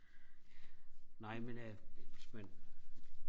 nej men øh hvis man